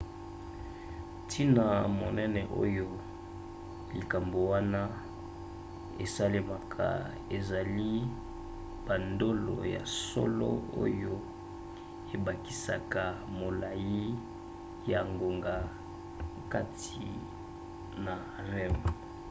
ntina monene oyo likambo wana esalemaka ezali bandolo ya solo oyo ebakisaka molai ya ngonga kati na rem